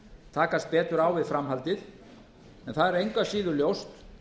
takast betur á við framhaldið en það er engu að síður ljóst